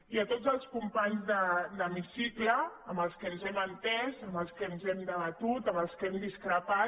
i a tots els companys d’hemicicle amb els que ens hem entès amb els que hem debatut amb els que hem discrepat